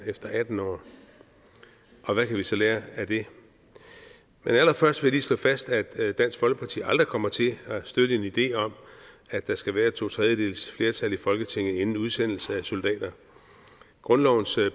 efter atten år og hvad vi så kan lære af det men allerførst vil jeg lige slå fast at dansk folkeparti aldrig kommer til at støtte en idé om at der skal være to tredjedeles flertal i folketinget inden udsendelse af soldater grundlovens